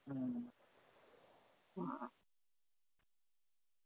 হম ,